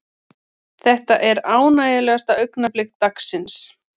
Þetta er ánægjulegasta augnablik dagsins.